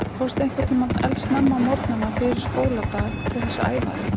Fórstu einhvern tímann eldsnemma á morgnana fyrir skóladag til þess að æfa þig?